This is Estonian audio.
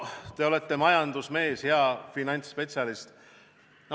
Te olete majandusmees ja finantsspetsialist.